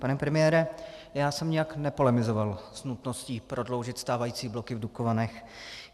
Pane premiére, já jsem nijak nepolemizoval s nutností prodloužit stávající bloky v Dukovanech.